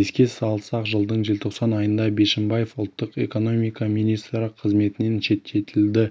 еске салсақ жылдың желтоқсан айында бишімбаев ұлттық экономика министрі қызметінен шеттетілді